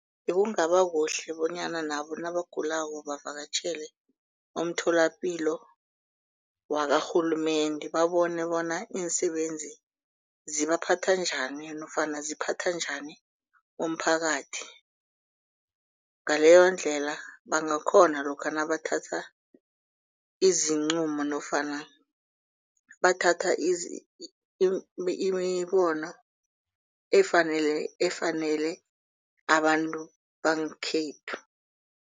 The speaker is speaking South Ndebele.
Bekungaba kuhle bonyana nabo nabagulako bavakatjhele umtholapilo wakarhulumende babone bona iinsebenzi zibaphathwa njani nofana ziphathwa njani umphakathi. Ngaleyondlela bangakhona lokha nabathatha izinqumo nofana bathatha imibono efanele efanele abantu bangekhethu.